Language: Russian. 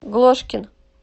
глошкин